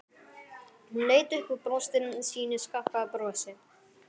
Hún leit upp og brosti sínu skakka brosi.